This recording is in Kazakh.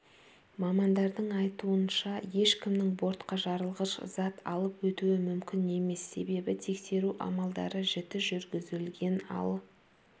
мамандардың айтуынша ешкімнің бортқа жарылғыш зат алып өтуі мүмкін емес себебі тексеру амалдары жіті жүргізілген ал